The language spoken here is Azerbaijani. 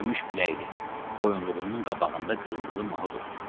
Gümüş piləkli, boyunluğunun qabağında qırmızı mahud olsun.